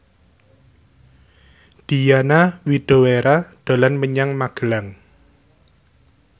Diana Widoera dolan menyang Magelang